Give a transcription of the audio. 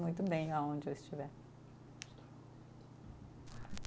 Muito bem aonde eu estiver.